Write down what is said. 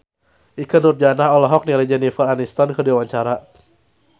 Ikke Nurjanah olohok ningali Jennifer Aniston keur diwawancara